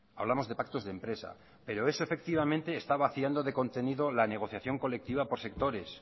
hablamos de pactos de empresa pero eso efectivamente está vaciando de contenido la negociación colectiva por sectores